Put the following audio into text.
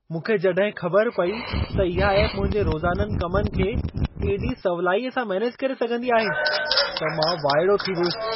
मूंखे जॾहिं ख़बर पेई त इहा एप मुंहिंजे रोज़ाननि कमनि खे एॾी सवलाईअ सां मैनेज करे सघंदी आहे, त मां वाइड़ो थी वियुसि।